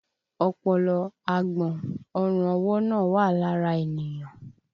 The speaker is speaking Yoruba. Ọpọlọ, agbọ̀n, ọrùn ọwọ́ náà wà lára ènìyàn